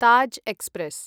Taj express